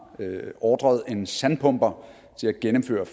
ordret en sandpumper til at gennemføre